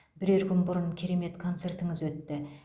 бірер күн бұрын керемет концертіңіз өтті